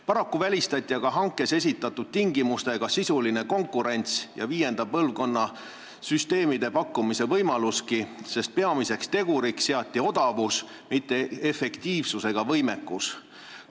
Paraku välistati aga hankes esitatud tingimustega sisuline konkurents ja viienda põlvkonna süsteemide pakkumise võimalus, sest peamiseks teguriks seati odavus, mitte efektiivsus ega võimekus.